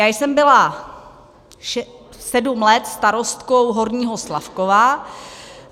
Já jsem byla sedm let starostkou Horního Slavkova.